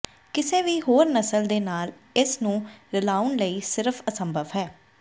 ਕਿਸੇ ਵੀ ਹੋਰ ਨਸਲ ਦੇ ਨਾਲ ਇਸ ਨੂੰ ਰਲਾਉਣ ਲਈ ਸਿਰਫ਼ ਅਸੰਭਵ ਹੈ